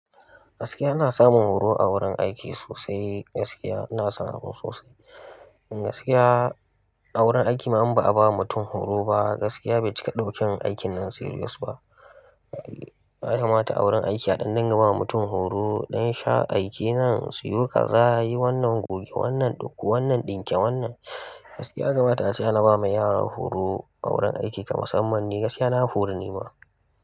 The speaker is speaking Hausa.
Gaskiya ana samun horo a wurin aiki sosai. Gaskiya ana samu sosai. In gaskiya a wurin aiki ma in ba a ba mutum horo ba, gaskiya bai cika daukar aikin nan serious ba. Alhamis a wurin aiki a ɗanɗana ba mutum horo ɗan sha aiki nan siyo kaza, yi wannan goge wannan ɗauko wannan ɗinke wannan. Gaskiya gamata sai an raba ma yara horo a wurin aiki kamar na musamman. Gaskiya na horu ni ma.